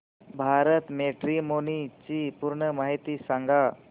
Bharat matrimony ची पूर्ण माहिती सांगा